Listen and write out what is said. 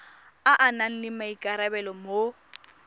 a nang le maikarabelo mo